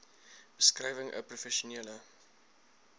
beskrywing n professionele